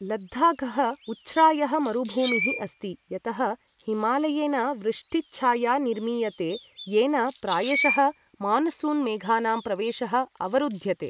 लद्दाखः उच्छ्रायः मरुभूमिः अस्ति यतः हिमालयेन वृष्टिच्छाया निर्मीयते येन प्रायशः मानसून मेघानां प्रवेशः अवरुध्यते।